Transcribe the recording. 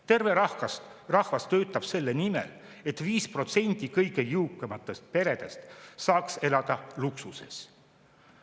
Terve rahvas töötab selle nimel, et 5% kõige jõukamaid peresid saaks elada luksuses.